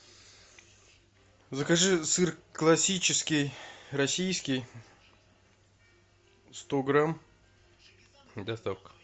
закажи сыр классический российский сто грамм доставка